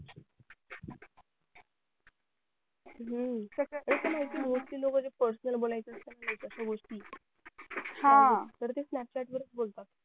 हम्म ते तर माहिती आहे mostly लोकं जे personal बोलायच्या असतात अश्या गोष्टी हा हम्म तर ते snapchat वरचं बोलतात